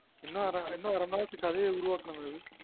இன்னும் அர மணி நேரத்துக்கு கதைய உருவாக்கனும் அபி